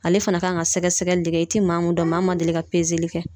Ale fana kan ka sɛgɛsɛgɛli de kɛ i ti maa mun dɔn maa ma deli ka kɛ